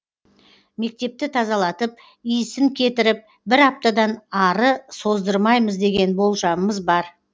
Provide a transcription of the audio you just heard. мектепті тазалатып иісін кетіріп бір аптадан ары создырмаймыз деген болжамымыз бар